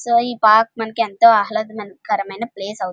So ఈ park మనకి ఎంతో ఆహ్లదకరమైన ప్లేస్ అవుతుంది.